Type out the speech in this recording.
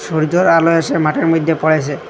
সূর্যর আলো এসে মাঠের মইধ্যে পড়েসে।